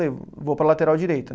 Falei, vou para lateral direita